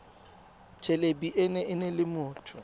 thelebi ene e neela motho